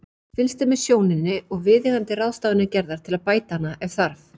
Fylgst er með sjóninni og viðeigandi ráðstafanir gerðar til að bæta hana ef þarf.